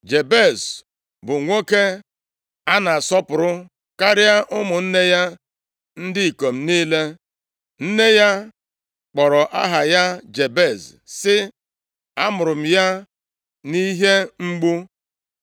Jabez bụ nwoke a na-asọpụrụ karịa ụmụnne ya ndị ikom niile. Nne ya kpọrọ aha ya Jabez, sị, “A mụrụ m ya nʼihe mgbu.”